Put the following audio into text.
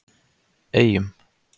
Eyjum